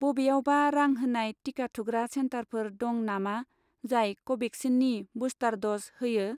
बबेयावबा रां होनाय टिका थुग्रा सेन्टारफोर दं नामा जाय कभेक्सिननि बुस्टार द'ज होयो?